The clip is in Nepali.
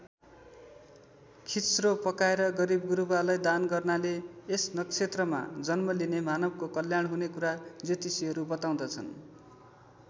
खिच्रो पकाएर गरीबगुरुबालाई दान गर्नाले यस नक्षत्रमा जन्म लिने मानवको कल्याण हुने कुरा ज्योतिषीहरू बताउँदछन्।